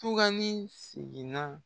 Tugani segin na.